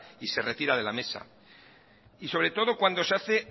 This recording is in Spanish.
y se retira de la mesa y sobre todo cuando se hace